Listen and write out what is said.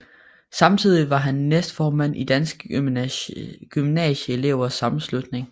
Samtidig var han næstformand i Danske Gymnasieelevers Sammenslutning